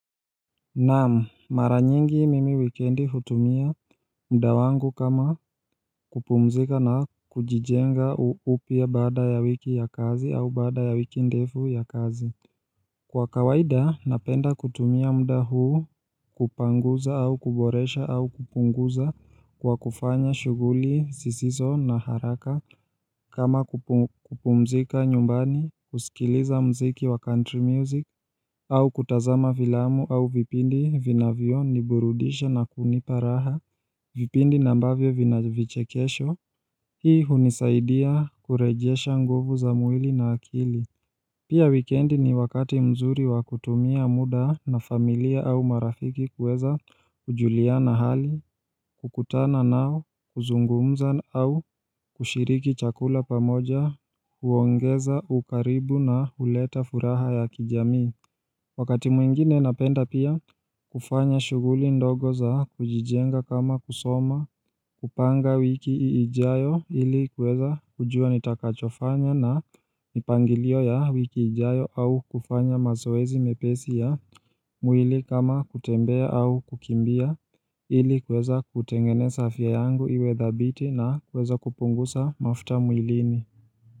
Naam, mara nyingi mimi wikendi hutumia muda wangu kama kupumzika na kujijenga upya baada ya wiki ya kazi au baada ya wiki ndefu ya kazi. Kwa kawaida, napenda kutumia muda huu kupanguza au kuboresha au kupunguza kwa kufanya shughuli, zisizo na haraka. Kama kupumzika nyumbani, kusikiliza muziki wa country music au kutazama filamu au vipindi vinavyo niburudisha na kunipa raha vipindi na ambavyo vina vichekesho Hii hunisaidia kurejesha nguvu za mwili na akili Pia wikendi ni wakati mzuri wa kutumia muda na familia au marafiki kueza kujuliana hali kukutana nao kuzungumza au kushiriki chakula pamoja huongeza ukaribu na uleta furaha ya kijamii Wakati mwingine napenda pia kufanya shughuli ndogo za kujijenga kama kusoma kupanga wiki ijayo ili kuweza kujua nitakachofanya na mipangilio ya wiki ijayo au kufanya mazoezi mepesi ya tabia yangu iwe dhabiti na kuweza kupunguza mafuta mwilini.